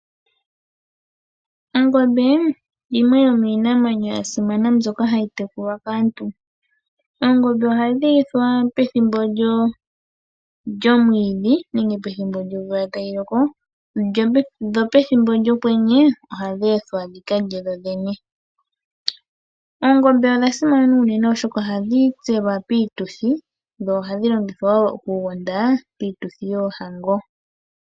Ongombe yimwe yo miinamwenyo ya simana mbyoka hayi tekulwa kaantu. Oongombe ohadhi lithwa pethimbo lyomwiidhi nenge pethimbo lyomvula tayi loko, dho pethimbo lyokwenye ohadhi ethwa dhi kalye dho dhene. Oongombe odha simana unene, oshoka ohadhi tselwa piituthi dho ohadhi longithwa woo okugonda piituthi yoohango.